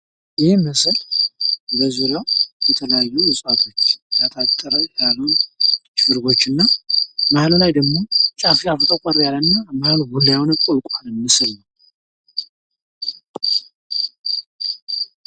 ይህ ምስል በዚሪያው በተለያዩ እጽዋቶች የታጠረ ያሉ ድርቦች እና መሀሉ ላይ ደግሞ ጫፍ ጫፉ ጠቆር ያለ እና ቡላ የሆነ ቁልቋል ምስል ነው።